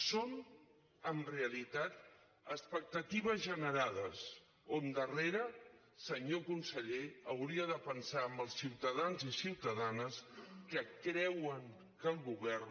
són en realitat expectatives generades on darrere senyor conseller hauria de pensar en els ciutadans i ciutadanes que creuen que el govern